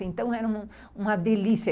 Então era uma delícia.